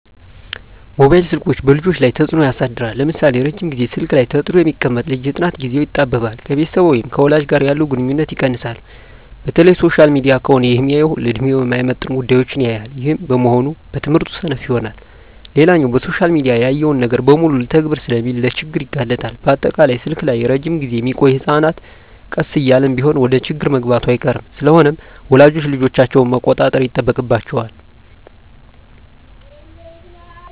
መባይል ስልኮች በልጆች ላይ ተጽኖ ያሳድራል ለምሳሌ:- ረጅም ግዜ ስልክ ላይ ተጥዶ የሚቀመጥ ልጅ የጥናት ግዜው ይጣበባል፣ ከቤተሰብ ወይም ከወላጅ ጋር ያለው ግንኙነት ይቀንሳል፣ በተለይ ሶሻል ሚዲያ ከሆነ ሚያየው ለድሜው የማይመጥን ጉዳዮች ያያል ይህም በመሆኑ በትምህርቱ ሰነፍ ይሆናል። ሌላኛው በሶሻል ሚዲያ ያየውን ነገር በሙሉ ልተግብር ስለሚል ለችግር ይጋለጣል፣ በአጠቃላይ ስልክ ላይ እረጅም ግዜ ሚቆዮ ህጸናት ቀስ እያለም ቢሆን ወደችግር መግባቱ አይቀርም። ስለሆነም ወላጆች ልጆቻቸውን መቆጣጠር ይጠበቅባቸዋል